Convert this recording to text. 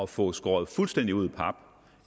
få skåret fuldstændig ud i pap